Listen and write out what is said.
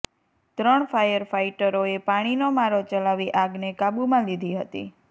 ત્રણ ફાયર ફાઇટરોએ પાણીનો મારો ચલાવી આગને કાબુમાં લીધી હતી